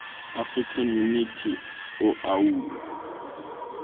african unity oau